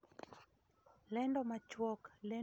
Lendo machuok: Lendo maduong' chieng dich adek